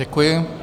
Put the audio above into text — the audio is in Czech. Děkuji.